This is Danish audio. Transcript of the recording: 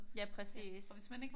Ja præcis